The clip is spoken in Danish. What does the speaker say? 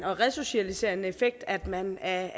og resocialiserende effekt at man er